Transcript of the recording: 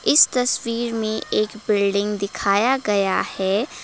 इस तस्वीर में एक बिल्डिंग दिखाया गया है।